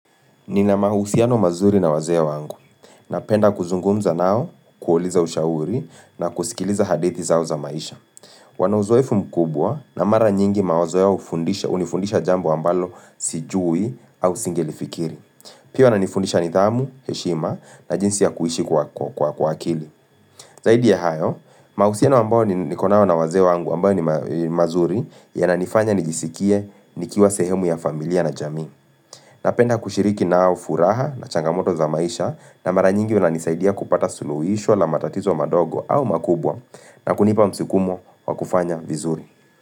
Nina mahusiano mazuri na wazee wangu. Napenda kuzungumza nao, kuuliza ushauri na kusikiliza hadith zao za maisha. Wana uzoefu mkubwa na mara nyingi mawazo yao hunifundisha, jambo ambalo sijui au singelifikiri. Pia wananifundisha nidhamu, heshima na jinsi ya kuishi kwa akili. Zaidi ya hayo, mahusiano ambayo niko nayo na wazee wangu ambayo ni mazuri yananifanya nijisikie nikiwa sehemu ya familia na jamii. Napenda kushiriki na ufuraha na changamoto za maisha na mara nyingi wananisaidia kupata suluhisho la matatizo madogo au makubwa na kunipa msukumo wa kufanya vizuri.